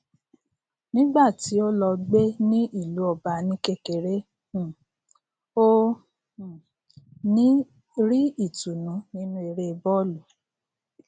nígbà tí ó lọ gbé ní ìlú ọba ní kékeré um ó um rí ìtùnú nínú eré bóòlù